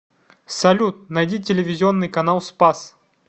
салют найди телевизионный канал спас